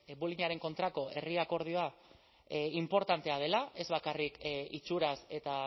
bullyingaren kontrako herri akordioa inportantea dela ez bakarrik itxuraz eta